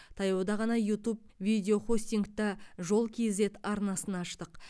таяуда ғана ютуб видеохостингта жол кейзэт арнасын аштық